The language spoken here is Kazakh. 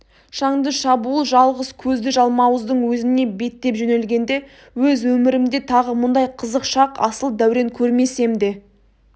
шаңды шабуыл жалғыз көзді жалмауыздың өзіне беттеп жөнелгенде өз өмірімде тағы мұндай қызық шақ асыл дәурен көрмесем де